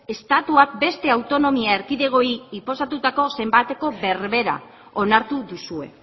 estatuak beste autonomia erkidegoei inposatutako zenbateko berbera onartu duzue